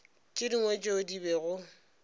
tše dingwe tšeo di bego